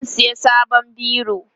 zan saya sabon biro